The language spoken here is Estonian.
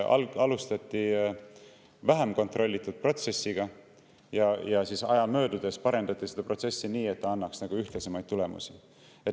Alustati vähem kontrollitud protsessiga ja aja möödudes parendati seda protsessi nii, et see annaks ühtlaseid tulemusi.